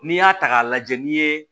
N'i y'a ta k'a lajɛ ni ye